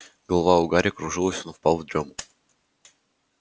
голова у гарри кружилась он впал в дрём